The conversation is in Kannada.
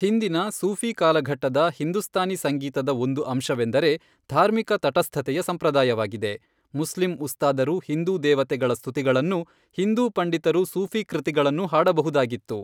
ಹಿಂದಿನ ಸೂಫಿ ಕಾಲಘಟ್ಟದ ಹಿಂದೂಸ್ತಾನಿ ಸಂಗೀತದ ಒಂದು ಅಂಶವೆಂದರೆ ಧಾರ್ಮಿಕ ತಟಸ್ಥತೆಯ ಸಂಪ್ರದಾಯವಾಗಿದೆ, ಮುಸ್ಲಿಂ ಉಸ್ತಾದರು ಹಿಂದೂ ದೇವತೆಗಳ ಸ್ತುತಿಗಳನ್ನೂ, ಹಿಂದೂ ಪಂಡಿತರು ಸೂಫಿ ಕೃತಿಗಳನ್ನೂ ಹಾಡಬಹುದಾಗಿತ್ತು.